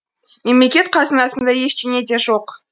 мемлекеттің қазынасында ештеңе де жоқ